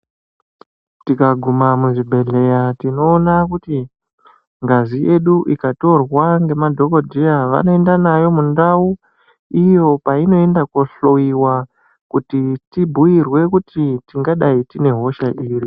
Tikaguma muzvibhedhlera tinoona kuti mavinedu ikatorwa nemadhokodheya vanoenda nawo mundau iyo painoenda kohloyewa kuti tibhuitwe kuti tingadah tune hosha iri.